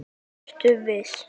Ertu viss?